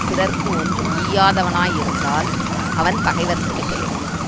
பிறர்க்கு ஒன்று ஈயாதவனாய் இருந்தால் அவன் பகைவர்க்கு மிக எளியவன்